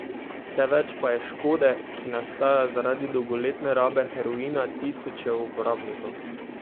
Vse več pa je škode, ki nastaja zaradi dolgoletne rabe heroina tisočev uporabnikov.